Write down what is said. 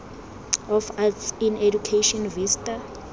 of arts in education vista